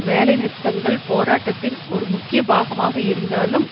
வேலை நிறுத்தங்கள் போராட்டத்தின் ஒரு முக்கிய பாகமாக இருந்தாலும்